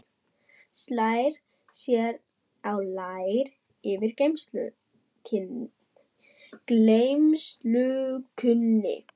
Slær sér á lær yfir gleymskunni.